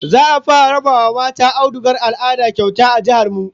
Za'a fara raba wa mata audugar al'ada kyauta a jihar mu